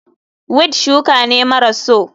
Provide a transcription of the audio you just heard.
Weed shuka ne maras so.